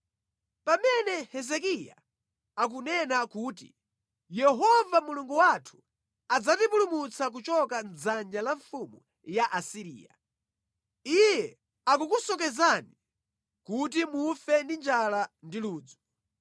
Pamene Hezekiya akunena kuti ‘Yehova Mulungu wathu adzatipulumutsa kuchoka mʼdzanja la mfumu ya ku Asiriya,’ iye akukusocheretsani, kuti mufe ndi njala ndi ludzu.